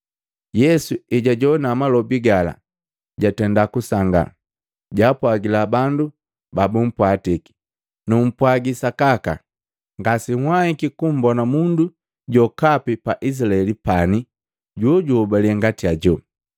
Yesu ejajoana malobi gala, jatenda kusanga, jaapwagila bandu babumpwatiki, “Numpwaagi sakaka, ngase nhwaiki kumbona mundu jokapi pa Izilaeli pani jojuhobale ngati ajo.